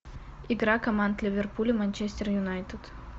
игра команд ливерпуль и манчестер юнайтед